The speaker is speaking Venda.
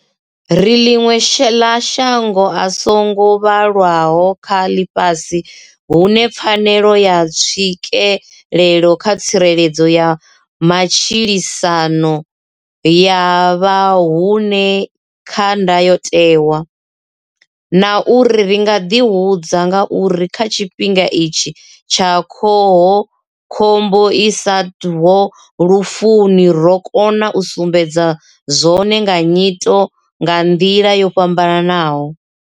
Ri ḽiṅwe ḽa mashango a so ngo vhalaho kha ḽifhasi hune pfanelo ya tswikelelo kha tsireledzo ya matshilisano ya vha hone kha Ndayotewa, na uri ri nga ḓihudza nga uri kha tshifhinga itshi tsha khoho khombo i isaho lufuni ro kona u sumbedza zwone nga nyito nga nḓila yo fhambanaho.